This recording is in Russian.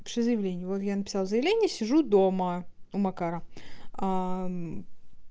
напиши заявление во я написала заявление сижу дома у макара